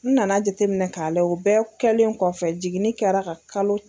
N nana jateminɛ ka layɛ, o bɛɛ kɛlen kɔfɛ jiginnin kɛra ka kalo.